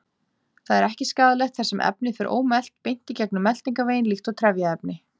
Það er ekki skaðlegt þar sem efnið fer ómelt beint gegnum meltingarveginn líkt og trefjaefni.